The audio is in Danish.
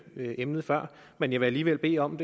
emnet før men jeg vil alligevel bede om